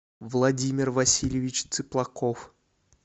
владимир васильевич цыплаков